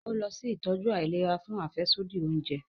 O lọ si itọju àìlera fún afẹsodi oúnjẹ